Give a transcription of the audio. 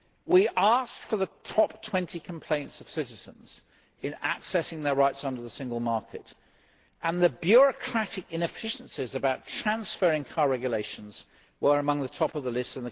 We asked for the top 20 complaints of citizens in accessing their rights under the single market, and the bureaucratic inefficiencies in car transferring regulations were among those at the top of the list.